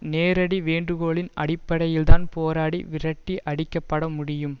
நேரடி வேண்டுகோளின் அடிப்படையில்தான் போராடி விரட்டி அடிக்கப்பட முடியும்